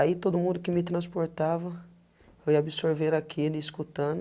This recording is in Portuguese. Aí todo mundo que me transportava, eu ia absorver aquele escutando.